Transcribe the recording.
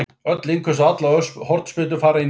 Öll innköst og allar hornspyrnur fara inn í teig.